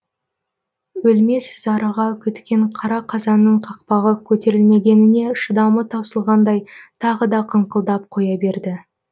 өлмес зарыға күткен қара қазанның қақпағы көтерілмегеніне шыдамы таусылғандай тағы да қыңқылдап қоя берді